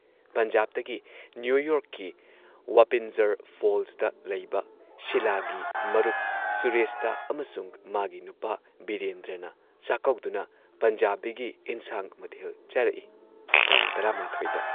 ꯄꯟꯖꯥꯕꯇꯒꯤ ꯅ꯭ꯌꯨ ꯌꯣꯔꯛꯀꯤ ꯋꯥꯄꯤꯟꯖꯔ ꯐꯣꯜꯁꯇ ꯂꯩꯕ, ꯁꯤꯂꯥꯒꯤ ꯃꯔꯨꯞ ꯁꯨꯔꯦꯁꯇ ꯑꯃꯁꯨꯡ ꯃꯥꯒꯤ ꯅꯨꯄꯥ ꯕꯤꯔꯦꯟꯗ꯭ꯔꯅ ꯆꯥꯛꯀꯧꯗꯨꯅ ꯄꯟꯖꯥꯕꯤꯒꯤ ꯏꯟꯁꯥꯡ ꯃꯊꯦꯜ ꯆꯥꯔꯛꯏ ꯇꯥꯡ ꯱꯱ ꯗ ꯫